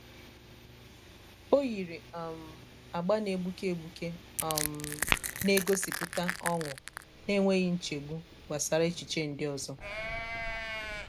o yiri um agba na-egbuke egbuke um na-egosipụta ọṅụ n'enweghị nchegbu gbasara echiche ndị ọzọ.